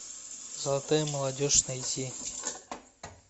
золотая молодежь найти